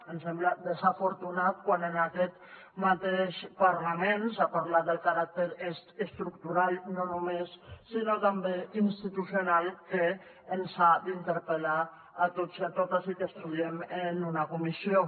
em sembla desafortunat quan en aquest mateix parlament s’ha parlat del caràcter estructural no només sinó també institucional que ens ha d’interpel·lar a tots i a totes i que estudiem en una comissió